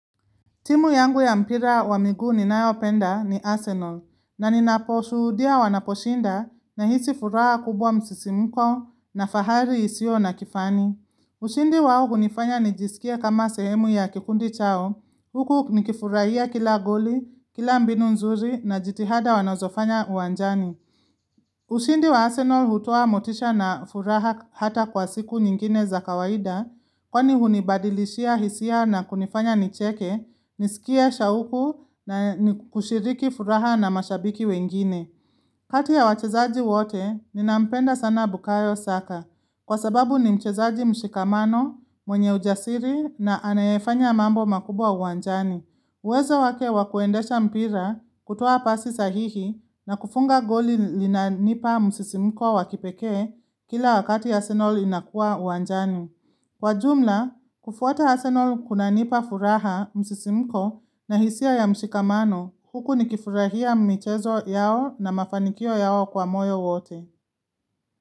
Timu yangu ya mpira wa miguu ninayopenda ni Arsenal na ninaposhuhudia wanaposhinda nahisi furaha kubwa msisimko na fahari isiyo na kifani. Ushindi wao hunifanya nijisikie kama sehemu ya kikundi chao huku nikifurahia kila goli, kila mbinu nzuri na jitihada wanozofanya uwanjani. Ushindi wa Arsenal hutoa motisha na furaha hata kwa siku nyingine za kawaida, kwani hunibadilishia hisia na kunifanya nicheke, nisikie shauku na kushiriki furaha na mashabiki wengine. Kati ya wachezaji wote, ninampenda sana Bukayo Saka, kwa sababu ni mchezaji mshikamano, mwenye ujasiri na anayefanya mambo makubwa uwanjani. Uwezo wake wa kuendesha mpira, kutoa pasi sahihi na kufunga goli linanipa msisimko wa kipekee kila wakati Arsenal inakua uwanjani. Kwa jumla, kufuata Arsenal kunanipa furaha msisimko na hisia ya mshikamano huku nikifurahia mchezo yao na mafanikio yao kwa moyo wote.